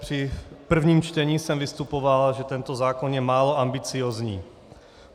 Při prvním čtení jsem vystupoval, že tento zákon je málo ambiciózní.